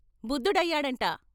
బుద్దు డయ్యాడంట! "